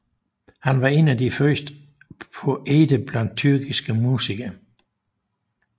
Han var en af de første poeter blandt tyrkiske mystikere